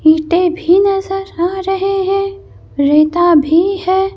ईंटे भी नजर आ रहे हैं रेता भी है।